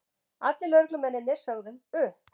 Allir lögreglumennirnir sögðu upp